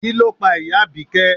Kí ló pa ìyá Abike?